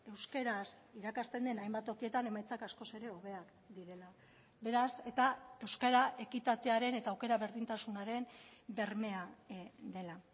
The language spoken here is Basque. euskaraz irakasten den hainbat tokietan emaitzak askoz ere hobeak direla beraz eta euskara ekitatearen eta aukera berdintasunaren bermea dela